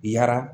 Yara